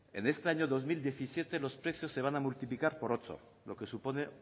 en este año dos mil diecisiete los precios se van a multiplicar por ocho lo que supone